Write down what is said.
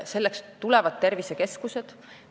Selleks tulevadki tervisekeskused.